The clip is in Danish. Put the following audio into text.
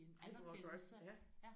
Ej hvor godt ja